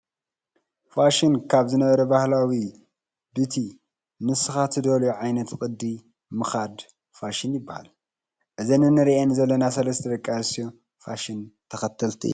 ፋሽን ካብ ዝነበረ ባህላዊ ብቲ ንስካ ትደልዮ ዓይነት ቅዲ ምካድ ፋሽን ይባሃል። እዘን እንሪኣን ዘለና ሰለስተ ደቂ ኣንስትዮ ፋሸን ተከተልቲ እየን።